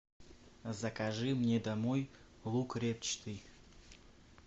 закажи мне домой лук репчатый